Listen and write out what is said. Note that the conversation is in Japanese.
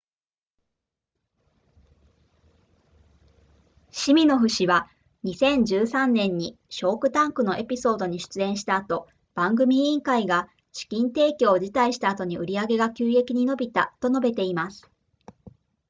シミノフ氏は2013年にシャークタンクのエピソードに出演した後番組委員会が資金提供を辞退した後に売上が急激に伸びたと述べています